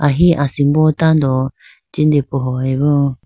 ahi asimbo tando jinde pohoyi bo.